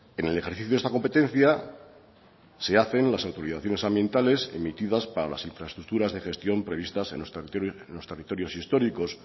en el ejercicio de esta competencia se hacen las autorizaciones ambientales emitidas para las infraestructuras de gestión previstas en los territorios históricos